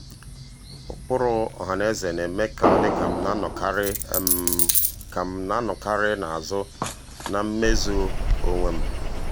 ụkpụrụ ọhanaeze na-eme ka ọ dị ka m na-anọkarị ka m na-anọkarị n'azụ na mmezu um onwe m.